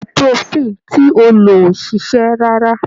Ibuprofen ti o lò ò ṣiṣẹ́ rárá.